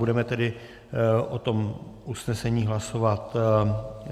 Budeme tedy o tom usnesení hlasovat